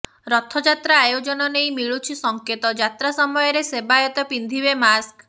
ରଥଯାତ୍ରା ଆୟୋଜନ ନେଇ ମିଳୁଛି ସଂକେତ ଯାତ୍ରା ସମୟରେ ସେବାୟତ ପିନ୍ଧିବେ ମାସ୍କ